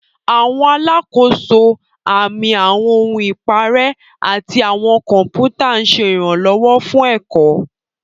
Àwọn alákòóso, àmì, àwọn ohun ìparẹ́, àti àwọn kọ̀pútà ń ṣe ìrànlọ́wọ́ fún ẹ̀kọ́.